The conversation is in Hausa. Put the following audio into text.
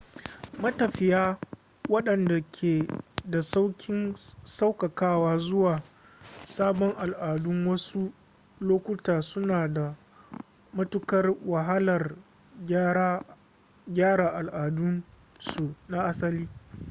matafiya waɗanda ke da sauƙin sauƙaƙawa zuwa sabon al'adun a wasu lokuta suna da matukar wahalar gyara al'adunsu na asali